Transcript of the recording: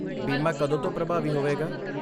ਬੀਮਾ ਕਦੋਂ ਤੋਂ ਪ੍ਰਭਾਵੀ ਹੋਵੇਗਾ?